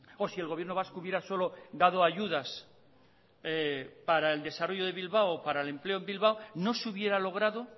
o si el gobierno vasco hubiera solo dado ayudas para el desarrollo de bilbao o para el empleo en bilbao no se hubiera logrado